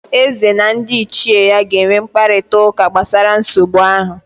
Eze na ndị ichie ya ga-enwe mkparịtaụka gbasara nsogbu ahụ